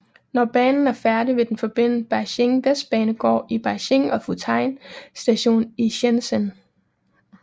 Når banen er færdig vil den forbinde Beijing Vestbanegård i Beijing og Futian Stationen i Shenzhen